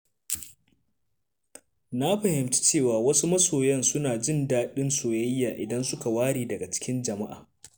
Na fahimci cewa wasu masoya suna jin daɗin soyayya idan suka ware daga cikin jama'a.